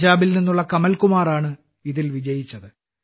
പഞ്ചാബിൽ നിന്നുള്ള കമൽ കുമാറാണ് ഇതിൽ വിജയിച്ചത്